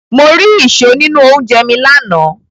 Mo ri ìṣó nínú oúnjẹ mi lánàá.